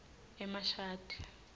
emashadi